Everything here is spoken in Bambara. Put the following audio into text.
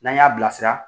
N'an y'a bilasira